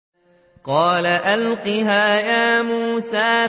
قَالَ أَلْقِهَا يَا مُوسَىٰ